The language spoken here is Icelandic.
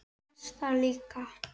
Þess þarf líka.